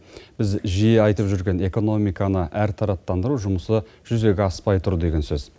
біз жиі айтып жүрген экономиканы әртараптандыру жұмысы жүзеге аспай тұр деген сөз